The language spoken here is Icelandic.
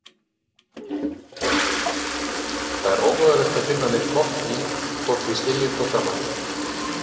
Það er ómögulegt að finna neinn botn í, hvort við skiljum hvort annað.